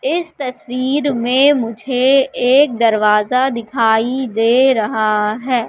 इस तस्वीर में मुझे एक दरवाजा दिखाई दे रहा है।